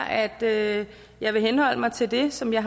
at jeg vil henholde mig til det som jeg